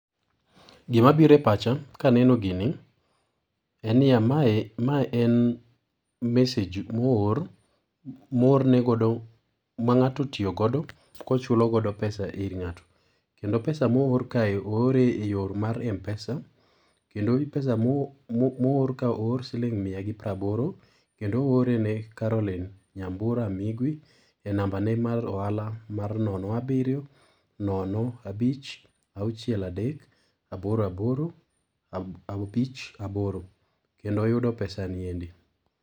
Gima biro e pacha, ka aneno gini, en niya, mae en message mo oor mo oor negodo, ma ng'ato otiyogodo ka ochulogodo pesa ir ng'ato. Kendo pesa mo oor kae oor eyo mar MPesa. Kendo pesa mo oor ka oor siling mia gi pra aboro. Kendo oore ne Caroline Nyambura Migwi e nambane mar oala mar nono abiryo nono abich auchiel adek aboro aboro abich aboro. Kendo oyudo pesa ni endi.